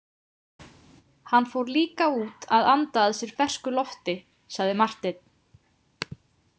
Hann fór líka út að anda að sér fersku lofti, sagði Marteinn.